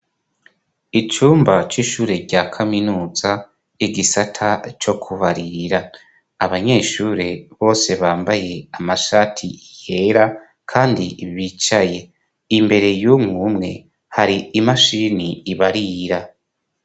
Icumba c'ishure rya kaminuza, igisata co kubarira; Abanyeshure bose bambaye amashati yera kandi bicaye, imbere y'umwumwe hari imashini ibarira.